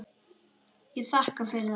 Ég þakka fyrir það.